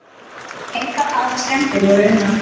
Engar aðrar skemmdir voru unnar.